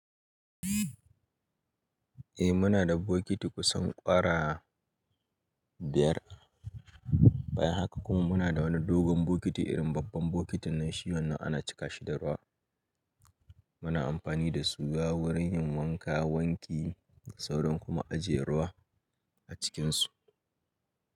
Eh muna da bokiti kusan ƙwara biyar. Bayan haka kuma muna da wani dogon bokiti irin babban bokitin nan shi wannan ana cika shi da ruwa. Muna amfani da su wurin yin wanka, wanki, sauran kuma ajiye ruwa a cikinsu.